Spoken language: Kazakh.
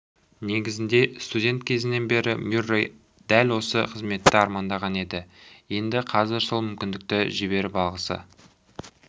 негізінде студент кезінен бері мюррей дәл осы қызметті армандаған еді енді қазір сол мүмкіндікті жіберіп алғысы